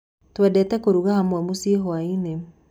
Twendete kũruga hamwe mũcĩi hwainĩ.